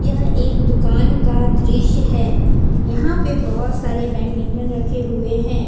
यह एक दुकान का दृश्य है यहां पे बहोत सारे बैडमिंटन रखे हुए हैं।